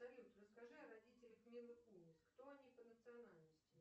салют расскажи о родителях милы кунис кто они по национальности